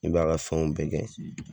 I b'a ka fɛnw bɛɛ kɛ.